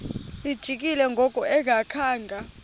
lijikile ngoku engakhanga